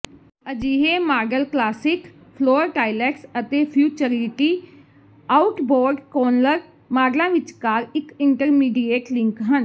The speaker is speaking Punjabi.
ਅਜਿਹੇ ਮਾਡਲ ਕਲਾਸਿਕ ਫਲੋਰ ਟਾਇਲੈਟਸ ਅਤੇ ਫਿਊਚਰਿਟੀ ਆਊਟਬੋਰਡ ਕੋਨਲਰ ਮਾਡਲਾਂ ਵਿਚਕਾਰ ਇੱਕ ਇੰਟਰਮੀਡੀਏਟ ਲਿੰਕ ਹਨ